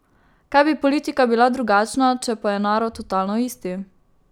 Kaj bi politika bila drugačna, če pa je narod totalno isti...